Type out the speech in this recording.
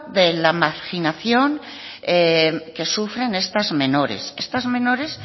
de la marginación que sufren estas menores estas menores